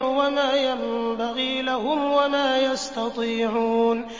وَمَا يَنبَغِي لَهُمْ وَمَا يَسْتَطِيعُونَ